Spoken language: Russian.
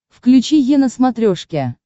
включи е на смотрешке